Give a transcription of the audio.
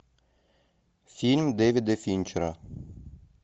фильм дэвида финчера